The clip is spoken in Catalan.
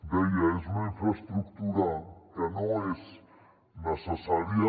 deia és una infraestructura que no és necessària